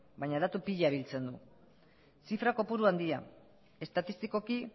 baina datu pila biltzen du zifra kopuru handia estatistikoki